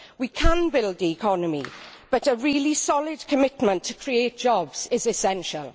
We can build the economy, but a really solid commitment to creating jobs is essential.